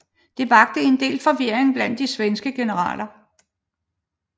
Det vakte en del forvirring blandt de svenske generaler